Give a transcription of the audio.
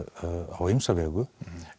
á ýmsa vegu